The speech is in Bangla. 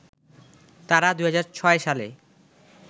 তারা ২০০৬ সালে